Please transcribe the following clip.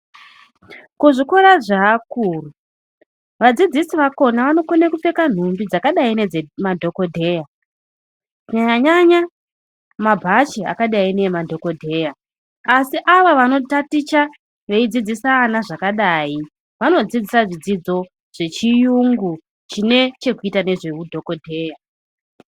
Kuzvikora zveakuru adzidzisi akhona anokone kupfeka nhumbi dzakadai nedzemadhokidheya kunyanya nyanya mabhachi akadai neamadhokodheya asi ava vanotaticha veidzidzisa ana zvakadai vanodzidza zvidzidzo zvechiyungu chine zvekuita nezveudhokodheya.